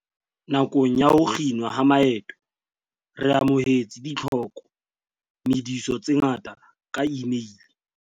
"Nakong ya ho kginwa ha maeto re amohetse ditlhoko mediso tse ngata ka imeile."